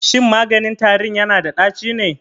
Shin maganin tarin yana da ɗaci ne?